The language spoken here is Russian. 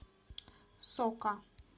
сока